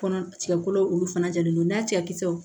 Kɔnɔ tigɛ kolo olu fana jalen don n'a cɛkisɛ